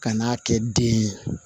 Ka n'a kɛ den ye